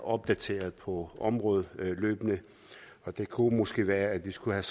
opdateres på området og det kunne måske være at vi skulle have